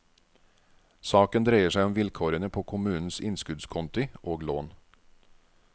Saken dreier seg om vilkårene på kommunens innskuddskonti og lån.